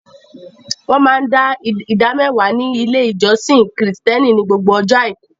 Wọ́n máa dá ìdámẹ́wàá ní ilé ìjọsìn Kìrìtẹ̀ẹ́nì ní gbogbo ọjọ́ àìkú.